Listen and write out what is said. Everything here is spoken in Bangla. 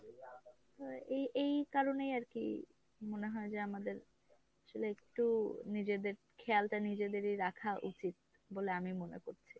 তো এই এই কারণেই আরকি মনে হয় যে আমাদের আসলে একটু নিজেদের খেয়ালটা নিজেদেরই রাখা উচিত বলে আমি মনে করছি।